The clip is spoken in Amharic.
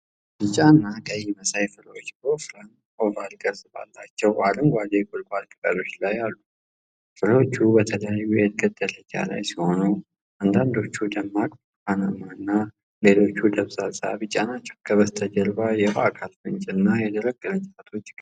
ቢጫ እና ቀይ መሳይ ፍሬዎች በወፍራም፣ ኦቫል ቅርጽ ባላቸው፣ አረንጓዴ የቁልቋል ቅጠሎች ላይ አሉ። ፍሬዎቹ በተለያየ የእድገት ደረጃ ላይ ሲሆኑ፣ አንዳንዶቹ ደማቅ ብርቱካናማና ሌሎች ደብዛዛ ቢጫ ናቸው። ከበስተጀርባው የውሃ አካል ፍንጭ እና የደረቁ ቅርንጫፎች ይገኛሉ።